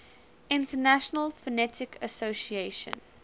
international phonetic association